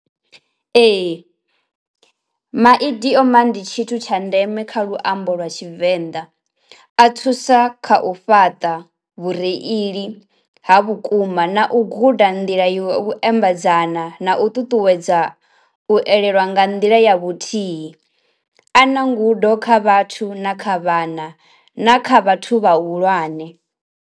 Ee maidioma and tshithu tsha ndeme kha luambo lwa tshivenḓa a thusa kha u fhaṱa vhureili ha vhukuma na u guda u ḓa nḓila ya u ambedzana na u ṱuṱuwedza u elelwa nga nḓila ya vhuthihi, a na ngudo kha vhathu na kha vhana na kha vhathu vhahulwane.